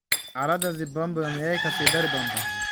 Xaalada Zimbabwe miyay kasii dari doontaa?